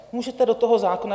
Můžete do toho zákona.